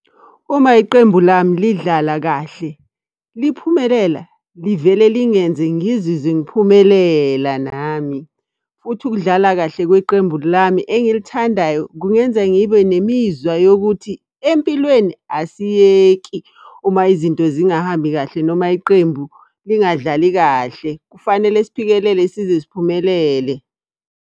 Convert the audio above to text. Uma iqembu lami lidlala kahle liphumelela, livele lingenze ngizizwe ngiphumelela nami. Futhi ukudlala kahle kweqembu lami engilithandayo kungenza ngibe nemizwa yokuthi, empilweni asiyeki uma izinto zingahambi kahle noma iqembu lingadlali kahle. Kufanele siphikelele size siphumelele.